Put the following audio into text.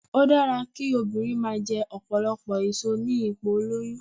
Ó dára kí obìnrin máa jẹ ọ̀pọ̀lọpọ̀ èso ní ipò ìlóyún